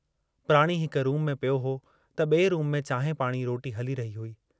प्राणी हिक रूम में पियो हो त बिए रूम में चांहि पाणी रोटी हली रही हुई।